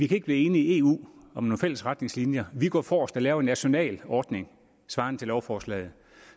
kan blive enige om nogle fælles retningslinjer men vi går forrest og laver en national ordning svarende til lovforslaget